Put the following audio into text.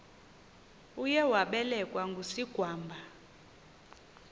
uye wabelekwa ngusigwamba